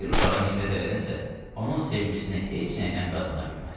Bir uşağa nifrət elədimsə, onun sevgisini heç nəylə qazana bilməzsən.